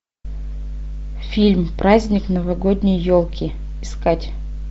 фильм праздник новогодней елки искать